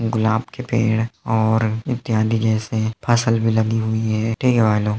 गुलाब के पेड़ और इत्यादी जैसे फसल भी लगी हुई हैं ठीक है भाई लोग।